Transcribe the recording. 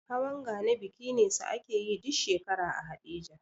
Hawan gani biki ne sa akeyi duk shekara a haɗeja